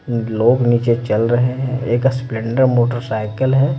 लोग नीचे चल रहे हैं एक स्पलेंडर मोटरसाइकिल है।